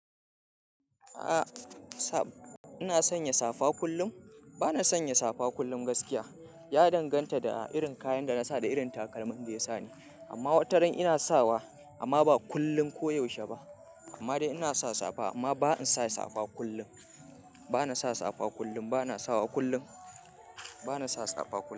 A'a, sa-- ina sanya safa kullum. Bana sanya safa kullum gaskiya. Ya danganta da irin kayan da na sa da irin takalmin da ya sani. Amma wataran ina sawa amma ba kullum ko yaushe ba. Amma dai ina sa safa amma ba in sa safa kullum. Bana sa safa kullum, bana sawa kullum. Bana sa safa kullum.